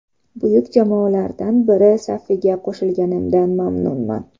Buyuk jamoalardan biri safiga qo‘shilganimdan mamnunman.